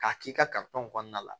K'a k'i ka kɔnɔna la